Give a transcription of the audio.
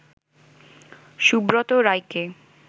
সুব্রত রায়কে